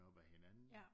Op af hinanden